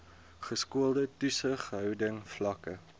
geskoolde toesighouding vlakke